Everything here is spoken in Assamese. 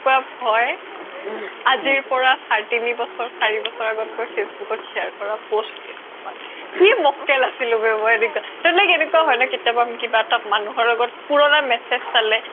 আজিৰ পৰা তিনি বছৰ চাৰি বছৰ Facebook ত share কৰা post কি মোককেল আছিলোঁ বে মই টো like এনেকুৱা হয় ন কেটিয়াবা মানুহৰ লগত পুৰণা message চালে